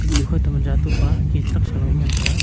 nukho toh yatoga kip soi ley ngan taiga.